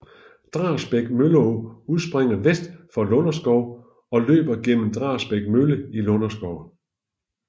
Drabæks Mølleå udspringer vest for Lunderskov og løber gennem Drabæks Mølle i Lunderskov